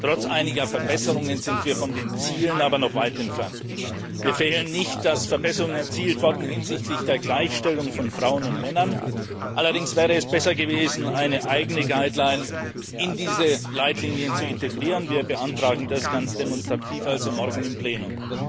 Trotz einiger Verbesserungen sind wir von den Zielen aber noch weit entfernt. Wir verhehlen nicht, dass Verbesserungen erzielt wurden hinsichtlich der Gleichstellung von Frauen und Männern, allerdings wäre es besser gewesen, eine eigene Guideline in diese Leitlinien zu integrieren. Wir beantragen das ganz demonstrativ morgen im Plenum.